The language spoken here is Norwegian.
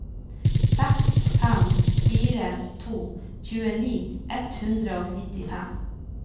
seks fem fire to tjueni ett hundre og nittifem